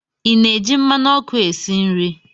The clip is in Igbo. Ị na-eji mmanụ ọkụ esi nri?